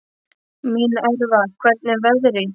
Minerva, hvernig er veðrið í dag?